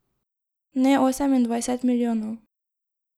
Ne osemindvajset milijonov.